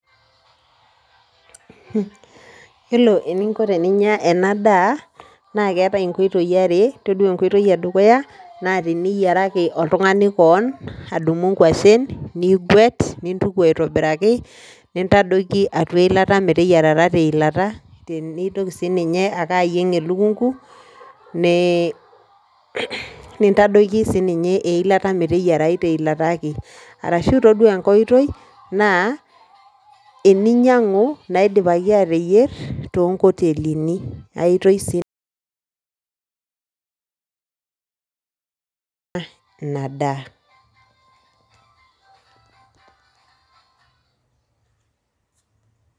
Yiolo eninko pinya ena daa naa keetae inkoitoi are. Todua enkoitoi edukuya naa teniyiaraki oltungani kewon , nidum inkwashen nigwet , nintuku aitobiraki , nintadoiki atua eilat meteyierata te ilata, nintoki sininye ake ayieng elukungu , nintadoiki sininye eilata , meteyiarayu te ilata ake. Arashu toduaa enkae oitoi naa teninyiangu naiipaki ateyier toonkotelini ae to ina daa